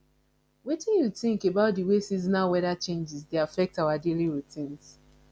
wetin you think about di way seasonal wheather changes dey affect our daily routines